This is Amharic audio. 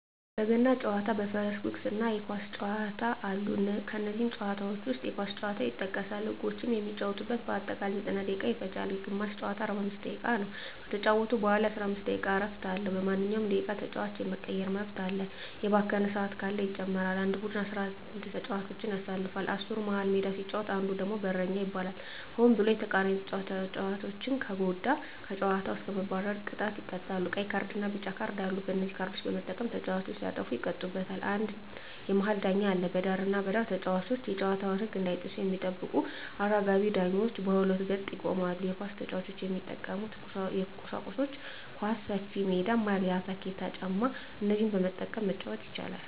በገና ጨዋታ በፈረስ ጉግስ እና የኳስ ጨዋታ አሉ ከነዚህም ጨዋታዎች ዉስጥ የኳስ ጨዋታ ይጠቀሳል ህጎችም የሚጫወቱበት በአጠቃላይ 90ደቂቃ ይፈጃል ግማሽ ጨዋታ 45 ደቂቃ ነዉ ከተጫወቱ በኋላ የ15 ደቂቃ እረፍት አለዉ በማንኛዉም ደቂቃ ተጫዋች የመቀየር መብት አለ የባከነ ሰአት ካለ ይጨመራል አንድ ቡድን 11ተጫዋቾችን ያሰልፋል አስሩ መሀል ሜዳ ሲጫወት አንዱ ደግሞ በረኛ ይባላል ሆን ብሎ የተቃራኒተጫዋቾችን ከተጎዳ ከጨዋታዉ እስከ መባረር ቅጣት ይቀጣሉ ቀይ ካርድና ቢጫ ካርድ አሉ በነዚህ ካርዶች በመጠቀም ተጫዋቾች ሲያጠፉ ይቀጡበታል አንድ የመሀል ዳኛ አለ በዳርና በዳር ተጫዋቾች የጨዋታዉን ህግ እንዳይጥሱ የሚጠብቁ አራጋቢ ዳኞች በሁለት ገጥ ይቆማሉ የኳስ ጫዋች የሚጠቀሙበት ቁሳቁሶች ኳስ፣ ሰፊሜዳ፣ ማልያ፣ ታኬታ ጫማ እነዚህን በመጠቀም መጫወት ይቻላል